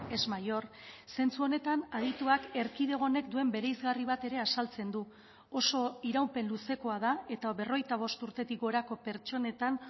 es mayor zentzu honetan adituak erkidego honek duen bereizgarri bat ere azaltzen du oso iraupen luzekoa da eta berrogeita bost urtetik gorako pertsonetan